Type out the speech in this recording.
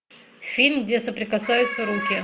фильм где соприкасаются руки